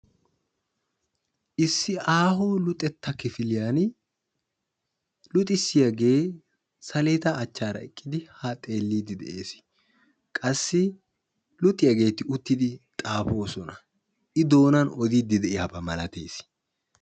Issi aaho luxetta kifiliyan luxissiyagee saleeda achaara eqqidi haa xeelliiddi de"es. Qassi luxiyaageeti uttidi xaafoosona. I doonan odiiddi de"iyaba malatees.